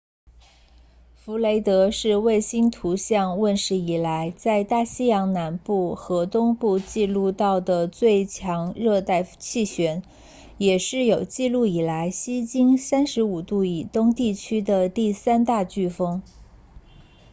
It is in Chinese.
弗雷德是卫星图像问世以来在大西洋南部和东部记录到的最强热带气旋也是有记录以来西经 35° 以东地区的第三大飓风